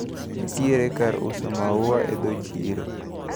Nitiere kar uso maua e dho chiro.